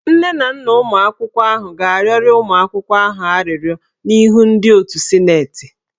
Nne na nna ụmụ akwụkwọ ahụ ga-arịọrọ ụmụ ha arịrịọ n'ihu ndị otu sịnetị.